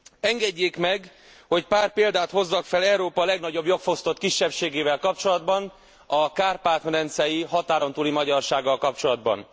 Engedjék meg, hogy pár példát hozzak fel Európa legnagyobb jogfosztott kisebbségével kapcsolatban, a kárpát medencei határon túli magyarsággal kapcsolatban.